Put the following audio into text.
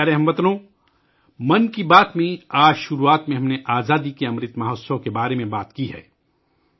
میرے پیارے ہم وطنو، آج 'من کی بات ' میں شروعات میں ہم نے آزادی کے امرت مہوتسو کے بارے میں بات کی ہے